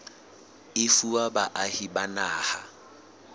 e fuwa baahi ba naha